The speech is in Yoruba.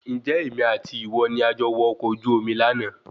Ǹjẹ́ èmi àti ìwọ ni a jọ wọ ọkọ̀ ojú omi lànà